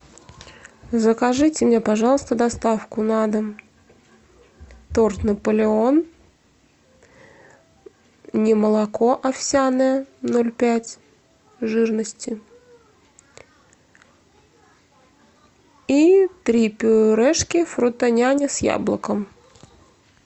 закажите мне пожалуйста доставку на дом торт наполеон немолоко овсяное ноль пять жирности и три пюрешки фрутоняня с яблоком